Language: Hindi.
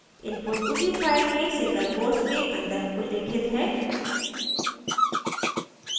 input उसी line में single quotes के अंदर उल्लेखित है